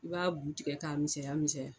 I b'a bu tigɛ k'a misɛya misɛya.